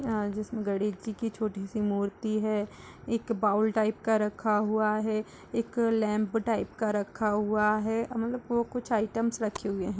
आं जिसमें गणेश जी की छोटी सी मूर्ति है। एक बाउल टाइप का रखा हुआ है। एक लैंप टाइप का रखा हुआ है। मतलब वो कुछ आइटम्स रखे हुए हैं।